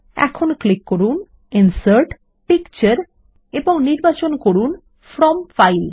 এখন ক্লিক করুন ইনসার্ট ও পিকচার এবং নির্বাচন করুন ফ্রম ফাইল